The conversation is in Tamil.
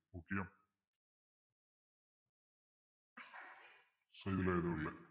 இதுல எதுவும் இல்லை